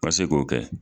Ka se k'o kɛ